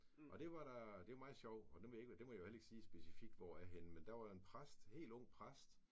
Og det var der det var meget sjovt nu det ved jeg ikke det må jeg vel heller ikke sige helt specifikt hvor er henne men der var en præst helt ung præst